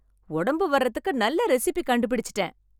உடம்பு வரதுக்கு நல்ல ரெசிபி கண்டுபிடிச்சுட்டேன்